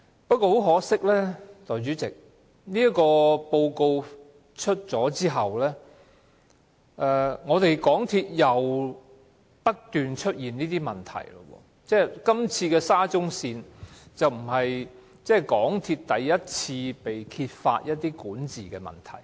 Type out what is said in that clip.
不過，代理主席，很可惜，在調查報告公布後，香港鐵路有限公司又不斷出現問題，而今次的沙中線工程已不是港鐵公司第一次被揭發出現管治問題。